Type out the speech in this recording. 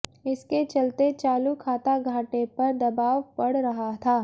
इसके चलते चालू खाता घाटे पर दबाव बढ़ रहा था